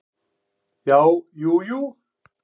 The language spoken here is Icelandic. Já, jú jú.